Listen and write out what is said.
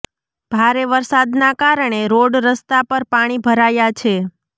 ભારે વરસાદના કારણે રોડ રસ્તા પર પાણી ભરાયા છે